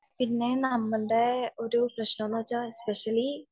പിന്നെ നമ്മളെ ഒരു പ്രശ്നം എന്താണെന്നു വച്ചാൽ നമ്മള് സ്പെഷ്യലി